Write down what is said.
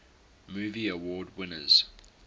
movie award winners